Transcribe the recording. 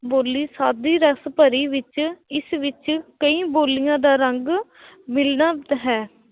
ਬੋਲੀ ਸਾਦੀ ਰਸ ਭਰੀ ਵਿੱਚ ਇਸ ਵਿੱਚ ਕਈ ਬੋਲੀਆਂ ਦਾ ਰੰਗ ਮਿਲਦਾ ਹੈ l